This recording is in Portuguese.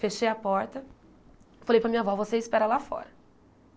Fechei a porta, falei para a minha avó, você espera lá fora.